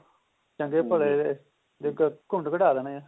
ਚੰਗੇ ਭਲੇ ਦੇਖੋ ਕੁੰਢ ਕੜਾ ਦੇਣੇ ਐ